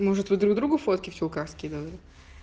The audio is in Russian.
может вы друг другу фотки в чулках скидывали